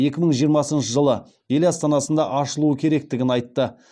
екі мың жиырмасыншы жылы ел астанасында ашылуы керектігін айтты